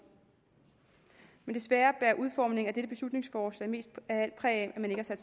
men desværre bærer udformningen af dette beslutningsforslag mest af alt præg af